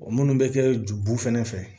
O minnu bɛ kɛ jubu fɛnɛ fɛ